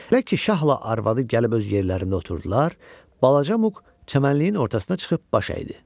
Elə ki şahla arvadı gəlib öz yerlərində oturdular, balaca Muq çəmənliyin ortasına çıxıb baş əydi.